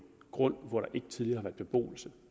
grund hvor der ikke tidligere har været beboelse